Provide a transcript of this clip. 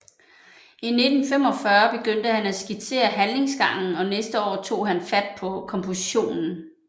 I 1845 begyndte han at skitsere handlingsgangen og næste år tog han fat på kompositionen